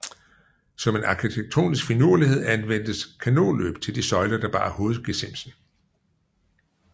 Som en arkitektonisk finurlighed anvendtes kanonløb til de søjler der bar hovedgesimsen